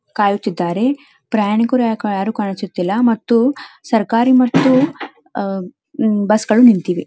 ಕಾಯುತ್ತಿದ್ದಾರೆ ಪ್ರಯಾಣಿಕರು ಯಾರು ಕಾಣಿಸುತ್ತಿಲ್ಲ ಮತ್ತು ಸರಕಾರಿ ಮತ್ತು ಬಸ್ಸುಗಳು ನಿಂತಿದೆ.